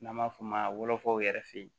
N'an b'a f'o ma wolofaw yɛrɛ fe yen